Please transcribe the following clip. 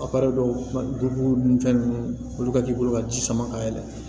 dɔw b'u dun fɛn ninnu olu ka k'i bolo ka ji sama ka yɛlɛ